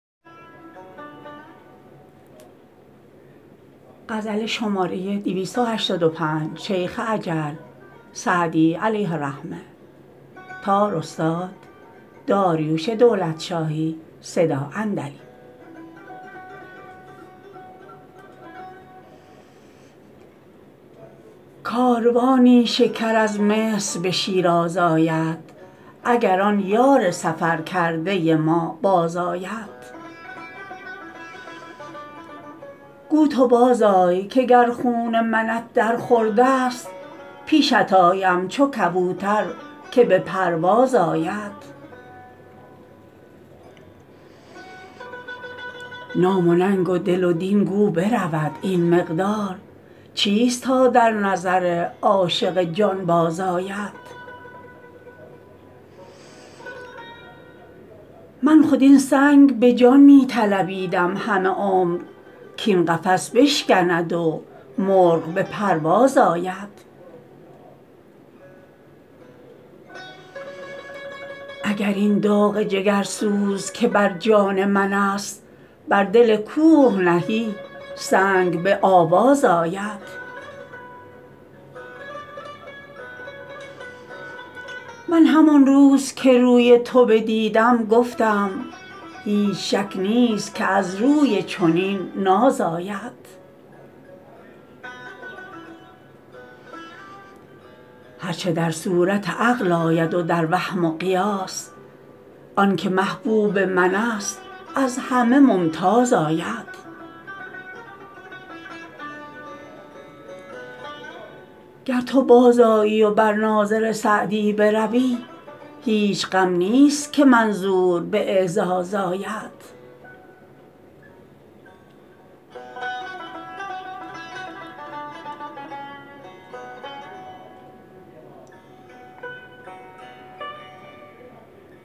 کاروانی شکر از مصر به شیراز آید اگر آن یار سفر کرده ما بازآید گو تو بازآی که گر خون منت در خورد است پیشت آیم چو کبوتر که به پرواز آید نام و ننگ و دل و دین گو برود این مقدار چیست تا در نظر عاشق جانباز آید من خود این سنگ به جان می طلبیدم همه عمر کاین قفس بشکند و مرغ به پرواز آید اگر این داغ جگرسوز که بر جان من است بر دل کوه نهی سنگ به آواز آید من همان روز که روی تو بدیدم گفتم هیچ شک نیست که از روی چنین ناز آید هر چه در صورت عقل آید و در وهم و قیاس آن که محبوب من است از همه ممتاز آید گر تو بازآیی و بر ناظر سعدی بروی هیچ غم نیست که منظور به اعزاز آید